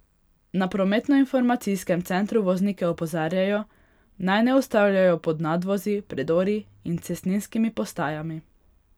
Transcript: Na prometnoinformacijskem centru voznike opozarjajo, naj ne ustavljajo pod nadvozi, predori in cestninskimi postajami.